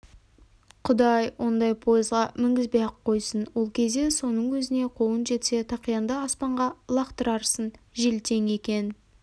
құдай ондай пойызға мінгізбей-ақ қойсын ол кезде соның өзіне қолың жетсе тақияңды аспанға лақтырарсың желтең екен